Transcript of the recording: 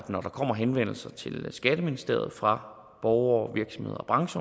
når der kommer henvendelser til skatteministeriet fra borgere